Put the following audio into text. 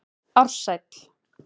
Ársæl